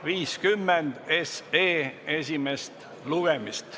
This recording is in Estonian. eelnõu 50 esimest lugemist.